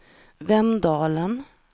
Vemdalen